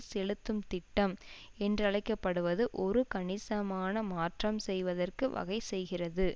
செலுத்தும் திட்டம் என்றழைக்கப்படுவது ஒரு கணிசமான மாற்றம் செய்வதற்கு வகை செய்கிறது